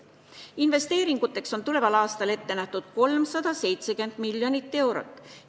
Investeeringuteks on tuleval aastal ette nähtud 370 miljonit eurot.